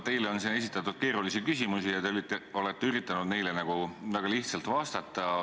Teile on siin esitatud keerulisi küsimusi ja te olete üritanud neile väga lihtsalt vastata.